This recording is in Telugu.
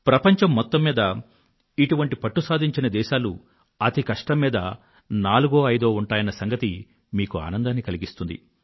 ప్రపంచం మొత్తం మీద ఇటువంటి పట్టు సాధించిన దేశాలు అతికష్టం మీద నాలుగో లేక ఐదో ఉంటాయన్న సంగతి మీకు ఆనందాన్ని కలిగిస్తుంది